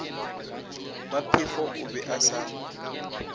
maphefo o be a sa